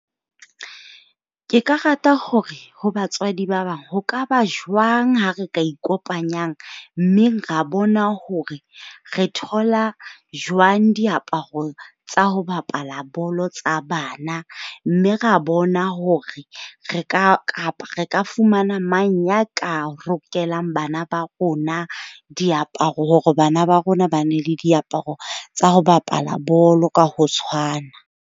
Ke ka rata hore ho batswadi ba bang, ho ka ba jwang ha re ka ikopanyang mmeng ra bona hore re thola jwang diaparo tsa ho bapala bolo tsa bana. Mme ra bona hore re ka kapa re ka fumana mang ya ka rokelang bana ba rona diaparo. Hore bana ba rona ba nne le diaparo tsa ho bapala bolo ka ho tshwana.